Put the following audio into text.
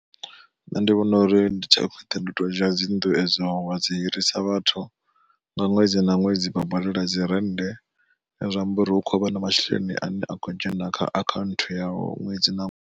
Nṋe ndi vhona uri ndi tsha khwine ndi to dzhia dzinnḓu edzo wa dzi hirisa vhathu, nga ṅwedzi na ṅwedzi vha badela dzi rennde zwi amba uri hu khou vha na masheleni ane akho dzhena kha akhaunthu yau ṅwedzi na ṅwedzi.